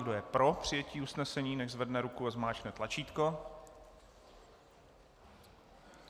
Kdo je pro přijetí usnesení, nechť zvedne ruku a zmáčkne tlačítko.